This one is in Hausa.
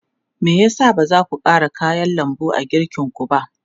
Me ya sa ba za ku ƙara kayan lambu a girkinku ba?